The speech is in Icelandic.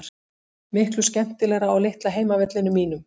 Miklu skemmtilegra á litla heimavellinum mínum.